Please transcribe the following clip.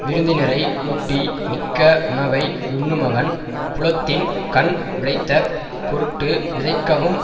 விருந்தினரை ஊட்டி மிக்க வுணவை யுண்ணுமவன் புலத்தின் கண் விளைதற் பொருட்டு விதைக்கவும்